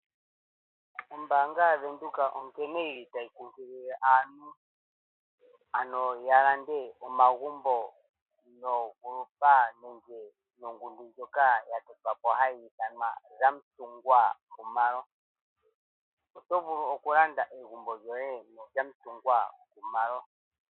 Ombaanga yaVenduka oyili tayi nkunkililile aantu yalande omagumbo nogroupa nenge nongundu ndjoka yatotwapk hayi ithwanwa Zamantungwa Khumalo otovulu okulanda egumbo lyoye noZamatungwa Khumalo.